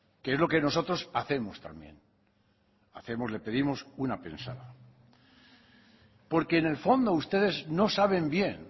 que es lo que nosotros hacemos también hacemos le pedimos una pensada porque en el fondo ustedes no saben bien